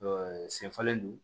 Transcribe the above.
sɛfalen don